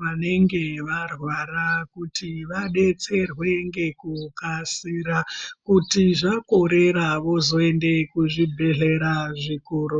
vanenge varwara kuti vadetserwe ngekukasika kuti vakorera vozoende kuzvibhehleya zvikuru.